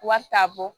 Wari t'a bɔ